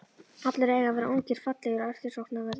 Allir eiga að vera ungir, fallegir og eftirsóknarverðir.